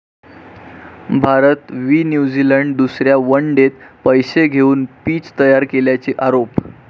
भारत वि. न्यूझिलंड दुसऱ्या वन डेत पैसे घेऊन पिच तयार केल्याचा आरोप